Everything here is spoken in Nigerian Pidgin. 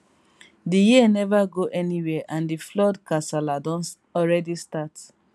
di year neva go anywia and di flood kasala don already start